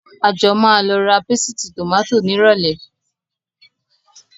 A jọ máa lọ ra pésìtì tòmátò nírọ̀lẹ́